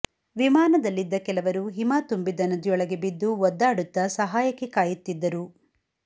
ವಿಮಾನದಲ್ಲಿದ್ದ ಕೆಲವರು ಹಿಮ ತುಂಬಿದ್ದ ನದಿಯೊಳಗೆ ಬಿದ್ದು ಒದ್ದಾಡುತ್ತಾ ಸಹಾಯಕ್ಕೆ ಕಾಯುತ್ತಿದ್ದರು